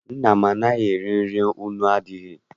Nna m anaghị eri nri nnu adịghị.